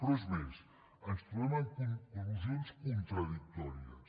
però és més ens trobem amb conclusions contradictòries